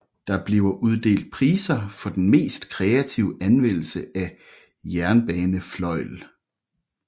Der bliver uddelt priser for den mest kreative anvendelse af jernbanefløjl